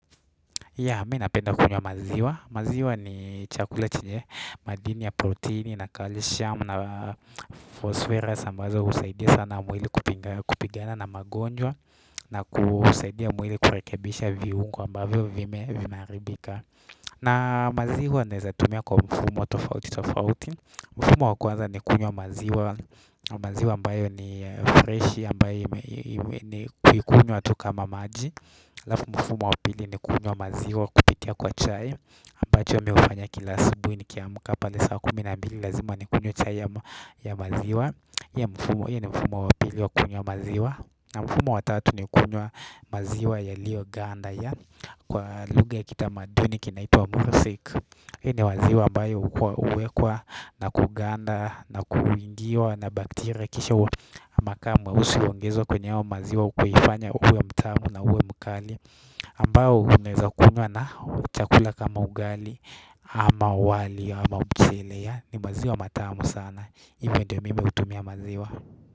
Mimi napenda kunywa maziwa maziwa ni chakula chenye madini ya proteini na kalshamu na fosferas ambazo husaidia sana mwili kupigana na magonjwa na kusaidia mwili kurekebisha viungo ambavyo vimeharibika na maziwa naeza tumia kwa mfumo tofauti tofauti mfumo wa kwanza ni kunywa maziwa maziwa ambayo ambayo ni fresh ambayo ni kuikunywa tu kama maji halafu mfumo wa pili ni kunywa maziwa kupitia kwa chai ambacho mimi hufanya kila asibui nikiamka pale saa kumi na mbili lazima nikunywe chai ya maziwa hiyo ni mfumo wa pili wa kunywa maziwa na mfumo wa tatu ni kunywa maziwa yalioganda kwa lugha ya kitamaduni kinaitwa musik hiyo ni maziwa ambayo huwekwa na kuganda na kuingiwa na baktiria kisha makaa meusi huongezwa kwenye haya maziwa kuifanya uwe mtamu na uwe mkali ambao unaweza kunwya na chakula kama ugali ama wali ama mchele yaani maziwa matamu sana hivo ndio mimi hutumia maziwa.